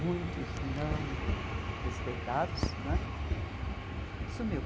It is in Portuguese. muitos não respeitados né, sumiu.